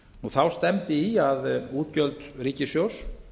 þá stefndi í að útgjöld ríkissjóðs